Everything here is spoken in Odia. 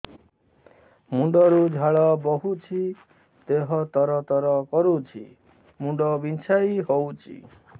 ମୁଣ୍ଡ ରୁ ଝାଳ ବହୁଛି ଦେହ ତର ତର କରୁଛି ମୁଣ୍ଡ ବିଞ୍ଛାଇ ହଉଛି